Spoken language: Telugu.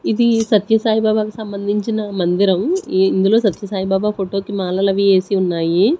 ఇది సత్య సాయి బాబాకి సంబంధించిన మందిరం ఇందులో సత్య సాయి బాబా ఫోటో కి మాలలు అవి వేసి ఉన్నాయి.